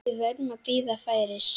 Við verðum að bíða færis.